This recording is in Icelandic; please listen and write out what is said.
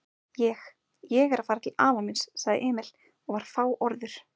Ég. ég er að fara til afa míns, sagði Emil og var fáorður.